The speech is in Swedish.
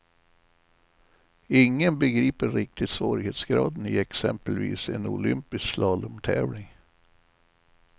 Ingen begriper riktigt svårighetsgraden i exempelvis en olympisk slalomtävling.